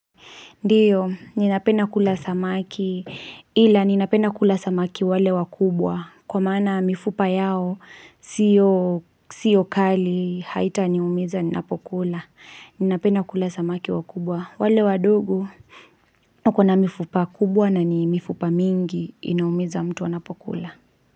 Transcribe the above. Ndiyo, ninapena kula samaki, ila ninapenda kula samaki wale wakubwa, kwa maana mifupa yao, siyo kali, haitaniumiza, ninapokula, ninapenda kula samaki wakubwa, wale wadogo, wako na mifupa kubwa na ni mifupa mingi, inaumiza mtu wana pokula.